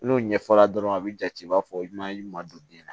N'o ɲɛfɔra dɔrɔn a bi jate i b'a fɔ i ma ɲuman don den na